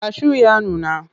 Kashu ya nuna.